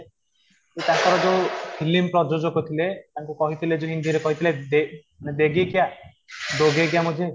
କି ତାଙ୍କର ଯୋଉ film ପ୍ରଯୋଜକ ଥିଲେ ତାଙ୍କୁ କହିଥିଲେ ଯେ ହିନ୍ଦୀ ରେ କହିଥିଲେ ବେ